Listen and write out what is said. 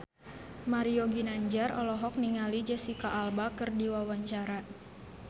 Mario Ginanjar olohok ningali Jesicca Alba keur diwawancara